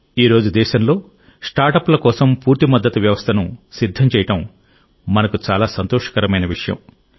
ఈ రోజు దేశంలో స్టార్టప్ల కోసం పూర్తి మద్దతు వ్యవస్థను సిద్ధం చేయడం మనకు చాలా సంతోషకరమైన విషయం